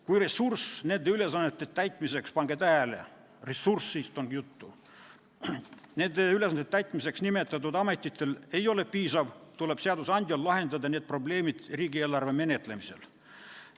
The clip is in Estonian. Kui ressurss nende ülesannete täitmiseks nimetatud ametitel ei ole piisav, tuleb seadusandjal lahendada need probleemid riigieelarve menetlemisel.